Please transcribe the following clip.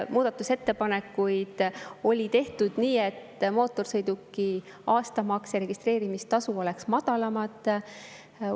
Muudatusettepanekuid oli tehtud nii, et mootorsõiduki aastamaks ja registreerimistasu oleks madalamad.